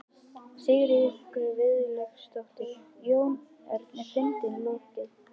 Sigríður Guðlaugsdóttir: Jón Örn, er fundinum lokið?